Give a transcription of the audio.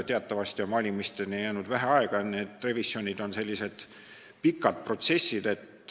Teatavasti on valimisteni jäänud vähe aega ja revisjonid on sellised pikad protsessid.